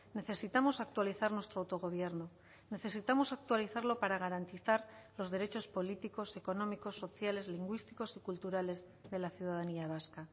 necesitamos actualizar nuestro autogobierno necesitamos actualizarlo para garantizar los derechos políticos económicos sociales lingüísticos y culturales de la ciudadanía vasca